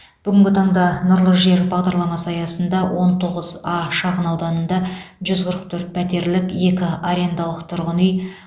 бүгінгі таңда нұрлы жер бағдарламасы аясында он тоғыз а шағынауданында жүз қырық төрт пәтерлік екі арендалық тұрғын үй